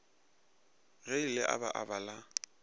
ge le aba aba la